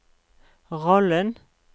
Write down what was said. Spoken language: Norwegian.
rollen